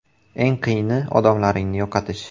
Eng qiyini odamlaringni yo‘qotish.